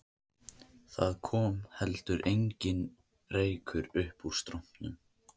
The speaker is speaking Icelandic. Það kom ekki heldur neinn reykur uppúr strompinum